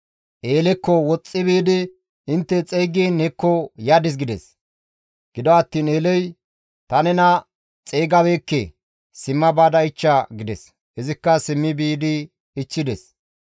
Eelekko woxxi biidi, «Intte xeygiin hekko yadis» gides. Gido attiin Eeley, «Ta nena xeygabeekke; simma baada ichcha» gides; izikka simmi biidi ichchides.